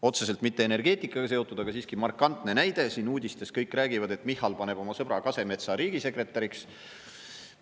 Otseselt mitte energeetikaga seotud, aga siiski markantne näide: uudistes kõik räägivad, et Michal paneb oma sõbra Kasemetsa riigisekretäriks.